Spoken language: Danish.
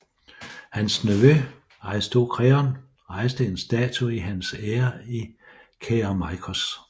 Hans nevø Aristokreon rejste en statue i hans ære i Kerameikos